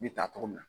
Ne ta tɔgɔ min na